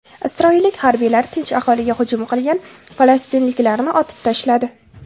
Isroillik harbiylar tinch aholiga hujum qilgan falastinliklarni otib tashladi.